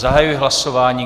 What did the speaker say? Zahajuji hlasování.